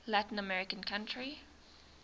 latin american country